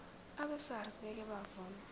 abesars ngeke bavuma